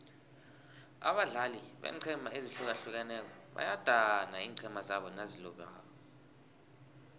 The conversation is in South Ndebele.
abadlali beenqhema ezihlukileko bayadana iinqhema zabo nazilobako